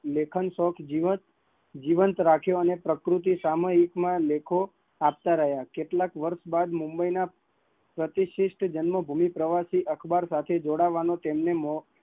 લેખક શોખ જીવંત રાખ્યો, અને પ્રકૃતિ સામુહિક માં લેખો આપતા રહ્યા, કેટલા વર્ષ બાદ મુંબઈ માં પ્રતિષ્ઠિતજન્મભૂમિ પ્રવસી અખબાર સાથે જોડાવાનો એમને મોકો મળ્યો